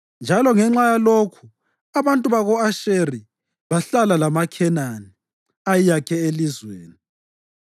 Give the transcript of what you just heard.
njalo ngenxa yalokhu abantu bako-Asheri bahlala lamaKhenani ayeyakhe elizweni.